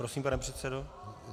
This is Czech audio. Prosím, pane předsedo.